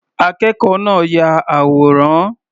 Akẹ́kọ̀ọ́ náà ya àwòrán.